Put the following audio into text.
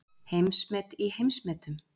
Heimsmet í heimsmetum